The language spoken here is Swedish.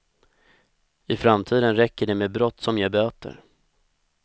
I framtiden räcker det med brott som ger böter.